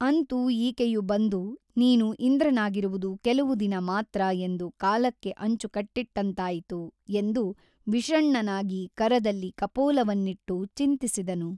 ಅಂತೂ ಈಕೆಯು ಬಂದು ನೀನು ಇಂದ್ರನಾಗಿರುವುದು ಕೆಲವು ದಿನ ಮಾತ್ರ ಎಂದು ಕಾಲಕ್ಕೆ ಅಂಚು ಕಟ್ಟಿಟ್ಟಂತಾಯಿತು ಎಂದು ವಿಷಣ್ಣನಾಗಿ ಕರದಲ್ಲಿ ಕಪೋಲವನ್ನಿಟ್ಟು ಚಿಂತಿಸಿದನು.